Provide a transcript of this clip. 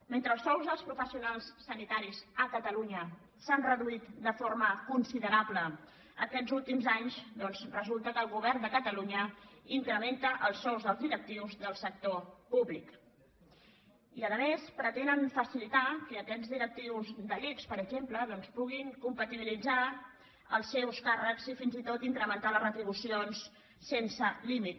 mentre els sous dels professionals sanitaris a catalunya s’han reduït de forma considerable aquests últims anys doncs resulta que el govern de catalunya incrementa els sous dels directius del sector públic i a més pretenen facilitar que aquests directius de l’ics per exemple puguin compatibilitzar els seus càrrecs i fins i tot incrementar les retribucions sense límit